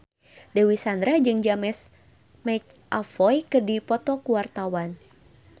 Dewi Sandra jeung James McAvoy keur dipoto ku wartawan